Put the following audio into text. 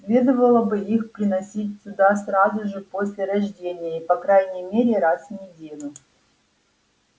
следовало бы их приносить сюда сразу же после рождения и по крайней мере раз в неделю